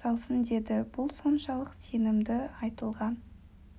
салсын деді бұл соншалық сенімді айтылған